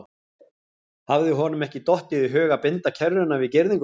Hafði honum ekki dottið í hug að binda kerruna við girðinguna?